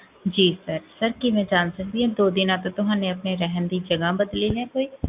ਜੀ, sir ਕੀ ਮੈਂ ਜਾਨ ਸਕਦੀ ਹਾਂ, ਤਦੋ ਦਿਨਾ ਤੋ ਤੁਹਾਨੇ ਆਪਣੇ ਰਹਨ ਦੀ ਜਗਾਹ ਬਦਲੀ ਹੈ ਕੋਈ?